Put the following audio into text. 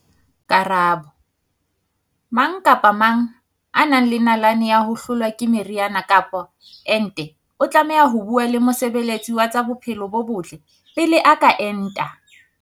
Karabo- Mang kapa mang ya nang le nalane ya ho hlolwa ke meriana kapa ente o tlameha ho bua le mosebe letsi wa tsa bophelo bo botle pele a ka enta.